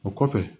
O kɔfɛ